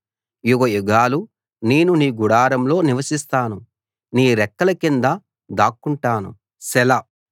యుగయుగాలు నేను నీ గుడారంలో నివసిస్తాను నీ రెక్కల కింద దాక్కుంటాను సెలా